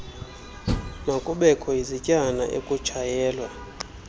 makubekho izityana ekutshayelwa